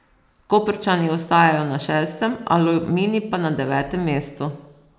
Koprčani ostajajo na šestem, Aluminij pa na devetem mestu.